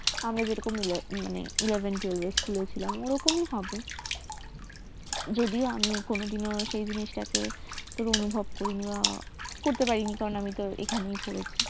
আমরা যেমন eleven twelve টা school ছিলাম ওরকমই হবে যদিও আমি সেই জিনিস টাকে অনুভব করিনি বা করতে পারিনি কারণ আমি তো এখানে school এ পড়েছি